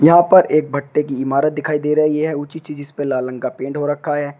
यहां पर एक भट्ठे की इमारत दिखाई दे रही है ऊंची चीज इसपे लाल रंग का पेंट हो रखा है।